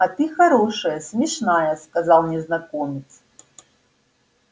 а ты хорошая смешная сказал незнакомец